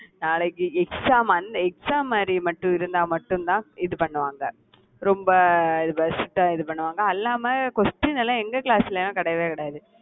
நாளைக்கு exam அந்~ exam மாறி மட்டும் இருந்தா மட்டும்தான் இது பண்ணுவாங்க ரொம்ப இது strict ஆ இதுபண்ணுவாங்க. அல்லாம question எல்லாம் எங்க class ல எல்லாம் கிடையவே கிடையாது.